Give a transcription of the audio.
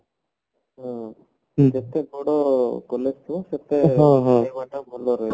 ହଁ